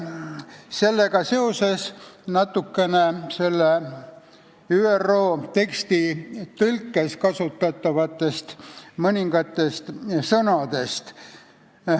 Sellega seoses räägin natukene mõningatest ÜRO lepingu teksti tõlkes kasutatud sõnadest.